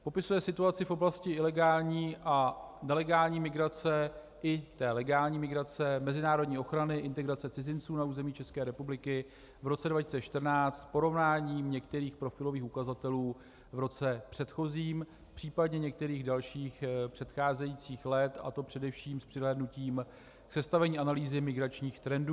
Popisuje situaci v oblasti ilegální a nelegální migrace i té legální migrace, mezinárodní ochrany, integrace cizinců na území České republiky v roce 2014 v porovnání některých profilových ukazatelů v roce předchozím, případně některých dalších předcházejících let, a to především s přihlédnutím k sestavení analýzy migračních trendů.